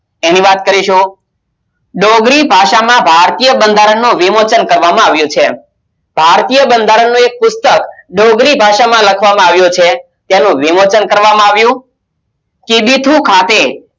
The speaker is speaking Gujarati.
એની વાત કરીશું ડોગરી ભાષામાં ભારતીય બંધારણનો વિમોચન કરવામાં આવ્યો છે ભારતીય બંધારણનો એક પુસ્તક ડોગરી ભાષામાં લખવામાં આવ્યો છે તેનું વિમોચન કરવામાં આવ્યું. કિબીથુ ખાતે એની વાત કરીશું